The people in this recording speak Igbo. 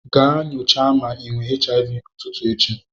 Ga nyocha ma ị nwe HIV n'ụtutu echi.